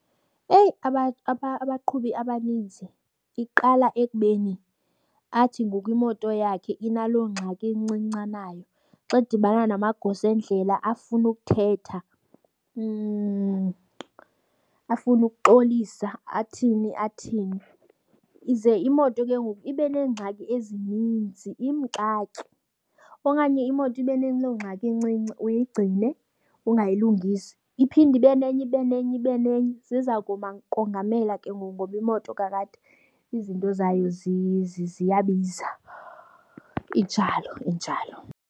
Eyi, abaqhubi abanintsi iqala ekubeni athi ngoku imoto yakhe inaloo ngxaki incinci anayo. Xa edibana namagosa endlela afune ukuthetha afune ukuxolisa athini athini, ize imoto ke ngoku ibe neengxaki ezininzi imxake okanye imoto ibe naloo ngxaki incinci uyigcine ungayilungisi. Iphinde ibe nenye, ibe nenye, ibe nenye, ziza kongamela ke ngoku ngoba imoto kakade izinto zayo ziyabiza, injalo, injalo.